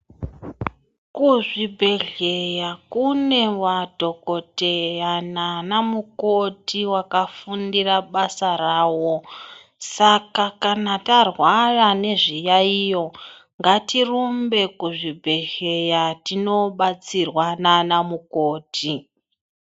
Kuzvibhedhleya kune madhokodheya naana mukoti vakafundira basa ravo. Saka kana tarwara nezviyaiyo ngatirumbe kuzvibhedhleya tinobatsirwa naana mukoti.